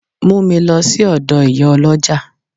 Mu mi lo si odo Iyaoloja!